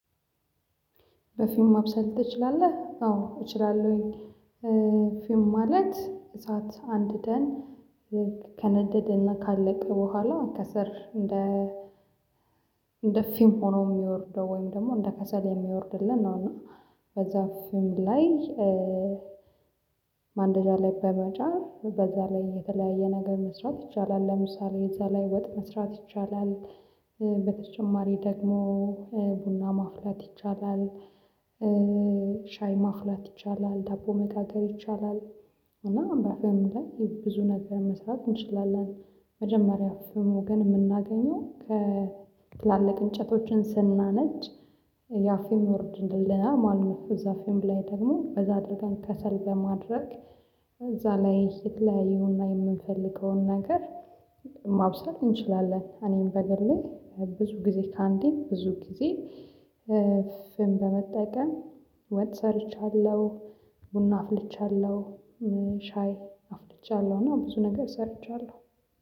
በፊህም ማብሰል ትችላለህ? አዎ እችላለሁኝ። ፊም ማለት እሳት አንድደን። ከነደደና ካለቀ በኋላ ከሰል። እንደ ፊም ሆኖ የሚወርደው ወይም ደግሞ እንደ ከሰል የሚወርድልን ነው። እና በዛ ፊም ላይ። ማንደጃ ላይ በመጫም በዛ ላይ የተለያየ ነገር መስራት ይቻላል። ለምሳሌ እዛ ላይ ወጥ መስራት ይቻላል። በተጨማሪ ደግሞ ቡና ማፍለት ይቻላል። ሻይ ማፍላት ይቻላል ዳቦ መጋገር ይቻላል። እና በምንድነው ብዙ ነገር መስራት እንችላለን? መጀመሪያ አፍምን የምናገኘው ከትላልቅ እንጨቶችን ስናነድ ያፌም ይወርድልና ማለት ነው። እዛ ፌም ላይ ደግሞ በዛ አድርገን ከሰል በማድረግ። እዛ ላይ የተለያየ የምንፈልገውን ነገር ማብሰል እንችላለን። እኔን በግሌ ላይ ብዙ ጊዜ ከአንዴ ብዙ ጊዜ። ፍህም በመጠቀም ወጥ ሰርቻለሁ። ቡና አፍልቻለሁ። ሻይ አፍልቻለሁ እና ብዙ ነገር ሰርቻለሁ።